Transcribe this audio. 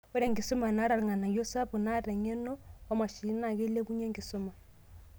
Ore enkisuma naata enkarriyano sapuk, natii eng'eno oomashinini naa keilepunye enkisuma.